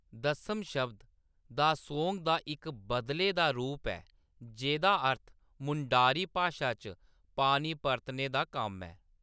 दस्सम शब्द 'दा:सोंग' दा इक बदले दा रूप ऐ जेह्‌दा अर्थ मुंडारी भाशा च पानी परतने दा कम्म ऐ।